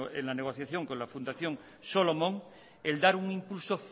en la negociación con la fundación solomon el dar un impulso